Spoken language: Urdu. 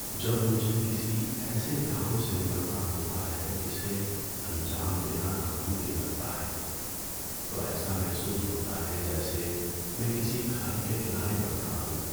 جب مجھے کسی ایسے کام سے نمٹنا ہوتا ہے جسے انجام دینا ناممکن لگتا ہے تو ایسا محسوس ہوتا ہے جیسے میں کسی کھائی کے کنارے پر کھڑا ہوں۔